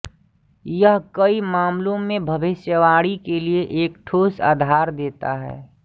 यह कई मामलों में भविष्यवाणी के लिए एक ठोस आधार देता है